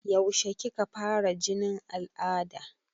Yaushe kika fara jinin al'ada?